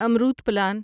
Amrut plan